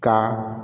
Ka